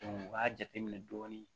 u b'a jateminɛ dɔɔni